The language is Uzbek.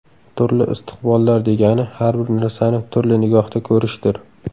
Turli istiqbollar degani har bir narsani turli nigohda ko‘rishdir.